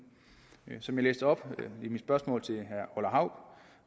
som jeg læste op i mit spørgsmål til herre orla hav